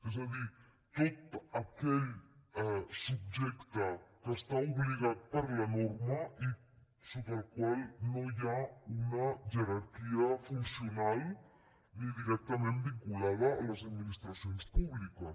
és a dir tot aquell subjecte que està obligat per la norma i sota el qual no hi ha una jerarquia funcional ni directament vinculada a les administracions públiques